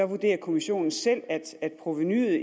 vurderer kommissionen selv at provenuet